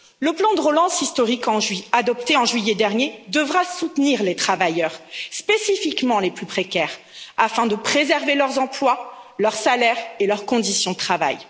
Le plan de relance historique, adopté en juillet dernier, devra soutenir les travailleurs, spécifiquement les plus précaires, afin de préserver leurs emplois, leurs salaires et leurs conditions de travail.